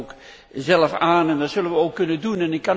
Hij geeft dat ook zelf aan en dat zullen wij ook kunnen doen.